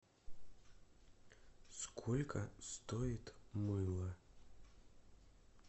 сколько стоит мыло